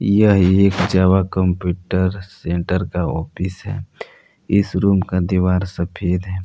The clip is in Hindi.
यहां एक जावा कंप्यूटर सेंटर का ऑफिस है इस रूम का दीवार सफेद है।